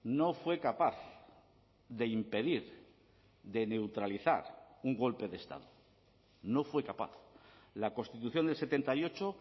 no fue capaz de impedir de neutralizar un golpe de estado no fue capaz la constitución del setenta y ocho